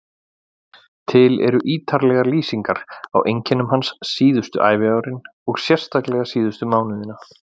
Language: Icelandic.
Til eru ítarlegar lýsingar á einkennum hans síðustu æviárin og sérstaklega síðustu mánuðina.